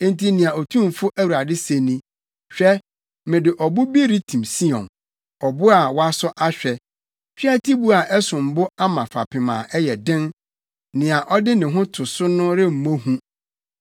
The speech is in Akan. Enti nea Otumfo Awurade se ni, “Hwɛ! Mede ɔbo bi retim Sion, ɔbo a wɔasɔ ahwɛ, tweatibo a ɛsom bo ama fapem a ɛyɛ den; nea ɔde ne ho to so no remmɔ hu.